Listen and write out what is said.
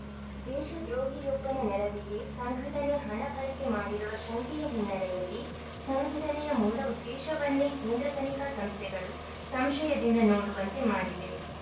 ದೇಶದ್ರೋಹಿಯೊಬ್ಬನ ನೆರವಿಗೆ ಸಂಘಟನೆ ಹಣ ಬಳಕೆ ಮಾಡಿರುವ ಶಂಕೆಯ ಹಿನ್ನೆಲೆಯಲ್ಲಿ ಸಂಘಟನೆಯ ಮೂಲ ಉದ್ದೇಶವನ್ನೇ ಕೇಂದ್ರ ತನಿಖಾ ಸಂಸ್ಥೆಗಳು ಸಂಶಯದಿಂದ ನೋಡುವಂತೆ ಮಾಡಿದೆ